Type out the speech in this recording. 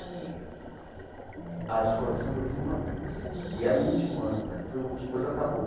Ali eh. A escola de samba eu vi uma vez, e era o último ano dela, depois acabou.